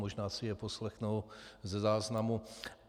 Možná si je poslechnou ze záznamu.